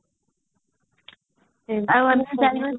ଆଉ ଅଧା ଜାଣିନଥିଲେ